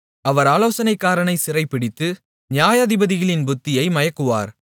அவர் ஆலோசனைக்காரரைச் சிறைபிடித்து நியாயாதிபதிகளின் புத்தியை மயக்குகிறார்